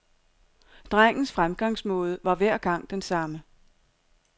Drengens fremgangsmåde var hver gang den samme.